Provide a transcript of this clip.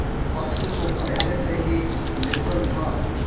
पक्ष तो पहले से ही निर्बल था